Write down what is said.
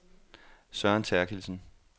Søren Therkildsen